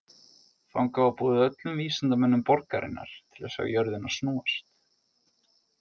Þangað var boðið öllum vísindamönnum borgarinnar til að sjá jörðina snúast.